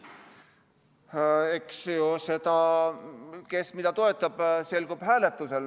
Eks see, kes mida toetab, selgub ju hääletusel.